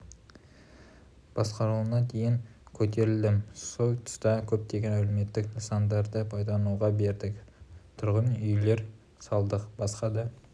басқарушысына дейін көтерілдім сол тұста көптеген әлеуметтік нысандарды пайдалануға бердік тұрғын үйлер салдық басқа да